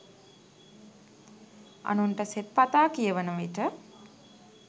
අනුන්ට සෙත්පතා කියවන විට